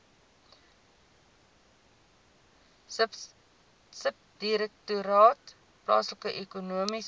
subdirektoraat plaaslike ekonomiese